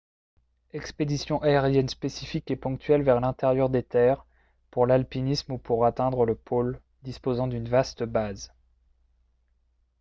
expéditions aériennes spécifiques et ponctuelles vers l'intérieur des terres pour l'alpinisme ou pour atteindre le pôle disposant d'une vaste base